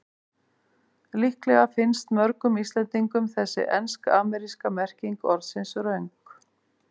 Líklega finnst mörgum Íslendingum þessi ensk-ameríska merking orðsins röng.